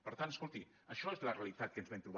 per tant escolti això és la realitat que ens vam trobar